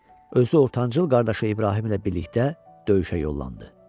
Özü ortancıl qardaşı İbrahim ilə birlikdə döyüşə yollandı.